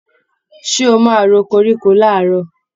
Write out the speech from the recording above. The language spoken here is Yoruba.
Ṣé o máa ro koríko làárọ̀?